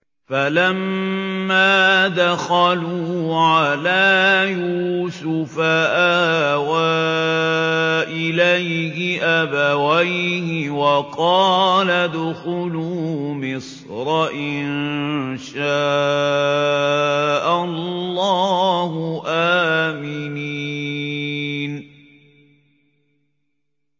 فَلَمَّا دَخَلُوا عَلَىٰ يُوسُفَ آوَىٰ إِلَيْهِ أَبَوَيْهِ وَقَالَ ادْخُلُوا مِصْرَ إِن شَاءَ اللَّهُ آمِنِينَ